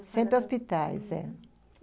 Sempre em hospitais, eh.